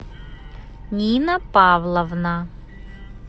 нина павловна